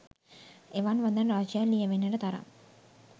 එවන් වදන් රාශියක් ලියැවෙන්නට තරම්